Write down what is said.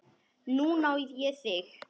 Núna á ég þig.